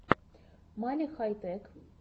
мали хай тех